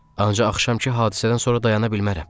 Ancaq axşamkı hadisədən sonra dayana bilmərəm.